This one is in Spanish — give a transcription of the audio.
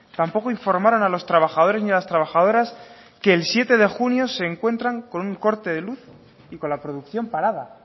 tampoco informaron a los trabajadores y las trabajadoras que el siete de junio se encuentran con un corte de luz y con la producción parada